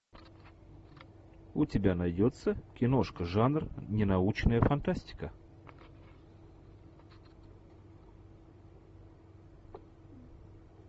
у тебя найдется киношка жанр ненаучная фантастика